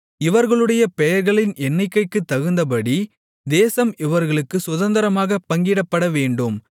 இவர்களுடைய பேர்களின் எண்ணிக்கைக்குத் தகுந்தபடி தேசம் இவர்களுக்குச் சுதந்தரமாகப் பங்கிடப்படவேண்டும்